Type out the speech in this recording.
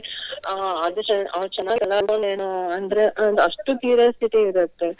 ಅಹ್ ಅದು ಅಂದ್ರೆ ಒಂದು ಅಷ್ಟು curiosity ಇರುತ್ತೆ.